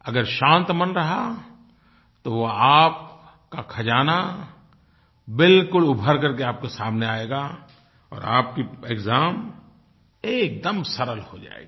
अगर शांत मन रहा तो वो आपका खज़ाना बिलकुल उभर करके आपके सामने आएगा और आपकी एक्साम एकदम सरल हो जायेगी